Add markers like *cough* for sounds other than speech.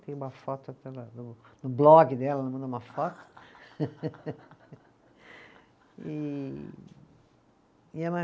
Tem uma foto *unintelligible* no no blog dela, mandou uma foto. *laughs* E, *unintelligible*